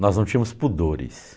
Nós não tínhamos pudores.